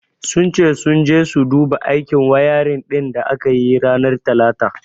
Sun ce sun je su duba aikin wayarin din da aka yi ranar talata.